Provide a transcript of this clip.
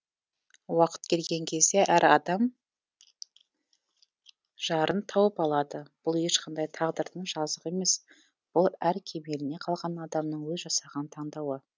уақыт келген кезде әр адам өз жарын тауып алады бұл ешқандай тағдырдың жазығы емес бұл әр кемеліне келген адамның өз жасаған таңдауы